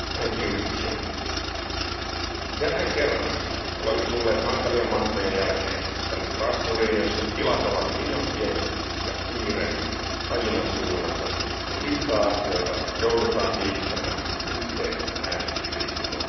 Arvoisa puhemies, jälleen kerran olemme tulleet hankalien matkojen jälkeen tänne Strasbourgiin, jossa tilat ovat liian pienet ja kiire aina suunnaton, kun liikaa asioita joudutaan tiivistämään yhteen äänestysviikkoon.